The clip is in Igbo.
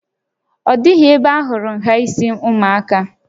Ọ dịghị ebe ahụrụ nhà isi ụmụaka a